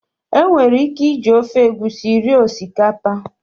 E nwere ike iji ofe egusi rie osikapa